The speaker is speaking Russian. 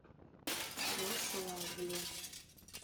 рославле